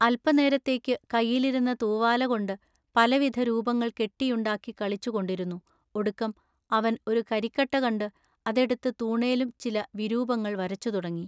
അല്പനേരത്തേക്കു കയ്യിലിരുന്ന തൂവാലകൊണ്ടു പലവിധ രൂപങ്ങൾ കെട്ടിയുണ്ടാക്കിക്കളിച്ചുകൊണ്ടിരുന്നു ഒടുക്കം അവൻ ഒരു കരിക്കട്ട കണ്ടു അതെടുത്തു തൂണേലും ചിലവിരൂപങ്ങൾ വരച്ചുതുടങ്ങി.